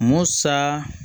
Musa